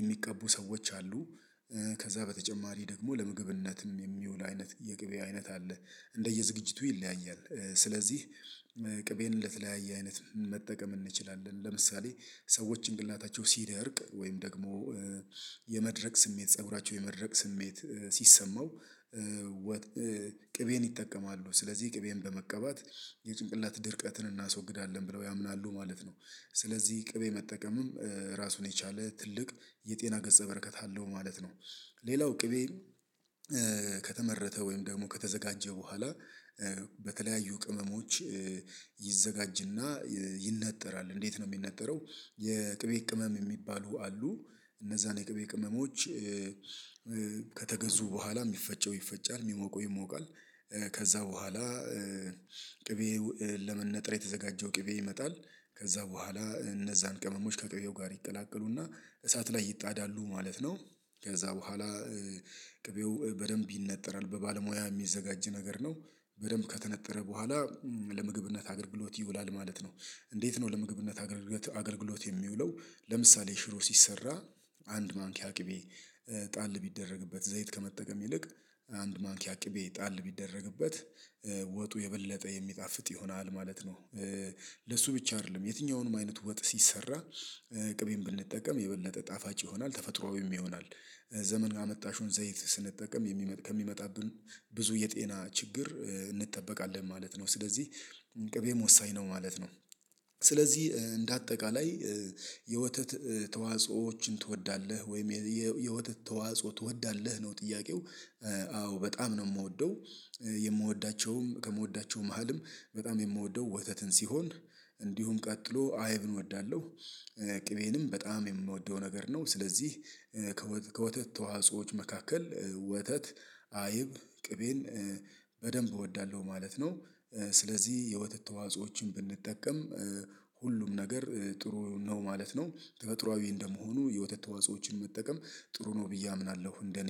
የሚቀቡ ሰዎች አሉ። ከዛ በተጨማሪ ደግሞ ለምግብነትም የሚውል አይነት የግብይ አይነት አለ እንደየ ዝግጅቱ ይለያያል። ስለዚህ ቅቤን ለተለያየ አይነት መጠቀም እንችላለን ለምሳሌ ሰዎች ጭንቅላታቸው ሲደርቅ ወይም ደግሞ የመድረቅ ስሜት ፀጉራቸው የመድረቅ ስሜት ሲሰማው ቅቤን ይጠቀማሉ ስለዚህ ቅቤን በመቀባት የጭንቅላት ድርቀትን እናስወግዳለን ብለው ያምናሉ ማለት ነው። ስለዚህ ቅቤ መጠቀምም ራሱን የቻለ ትልቅ የጤና ገጸ በረከት አለው ማለት ነው። ሌላው ቅቤ ከተመረተ ወይም ደግሞ ከተዘጋጀ በኋላ በተለያዩ ቅመሞች ይዘጋጅና ይነጠራል እንዴት ነው የሚነጠረው? የቅቤ ቅመም የሚባሉ አሉ እነዛን የቅቤ ቅመሞች ከተገዙ በኋላ የሚፈጨው ይፈጫል የሚሞቀው ይሞቃል። ከዛ በኋላ ቅቤ ለመነጠር የተዘጋጀው ቅቤ ይመጣል ከዛ በኋላ እነዛን ቅመሞች ከቅቤው ጋር ይቀላቀሉና እሳት ላይ ይጣዳሉ ማለት ነው። ከዛ በኋላ ቅቤው በደንብ ይነጠራል በባለሙያ የሚዘጋጅ ነገር ነው። በደንብ ከተነጠረ በኋላ ለምግብነት አገልግሎት ይውላል ማለት ነው። እንዴት ነው ለምግብነት አገልግሎት የሚውለው ለምሳሌ ሽሮ ሲሰራ አንድ ማንኪያ ቅቤ ጣል ቢደረግበት ዘይት ከመጠቀም ይልቅ አንድ ማንኪያ ቅቤ ጣል ቢደረግበት ወጡ የበለጠ የሚጣፍጥ ይሆናል ማለት ነው። ለሱ ብቻ አይደለም የትኛውንም አይነት ወጥ ሲሰራ ቅቤን ብንጠቀም የበለጠ ጣፋጭ ይሆናል ተፈጥሮአዊ ይሆናል ዘመን አመጣሽውን ዘይት ስንጠቀም ከሚመጣብን ብዙ የጤና ችግር እንጠበቃለን ማለት ነው። ስለዚህ ቅቤም ወሳኝ ነው ማለት ነው። ስለዚህ እንደ አጠቃላይ የወተት ተዋጾዎችን ትወዳለህ ወይም የወተት ተዋጾ ትወዳለህ ነው ጥያቄው? አዎ በጣም ነው የምወደው የምወዳቸውም ከምወዳቸውም መሃልም በጣም የምወደው ወተትን ሲሆን እንዲሁም ቀጥሎ አይብን እወዳለሁ። ቅቤንም በጣም የምወደው ነገር ነው ስለዚህ ከወተት ተዋጾዎች መካከል ወተት አይብ ቅቤን በደንብ እወዳለሁ ማለት ነው። ስለዚህ የወተት ተዋጾዎችን ብንጠቀም ሁሉም ነገር ጥሩ ነው ማለት ነው። ተፈጠራዋዊ እንደመሆኑ የወተት ተዋጾዎችን መጠቀም ጥሩ ነው ብዬ አምናለሁ እንደኔ